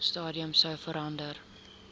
stadium sou verander